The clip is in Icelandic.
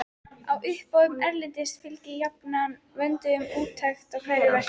Á uppboðum erlendis fylgi jafnan vönduð úttekt á hverju verki.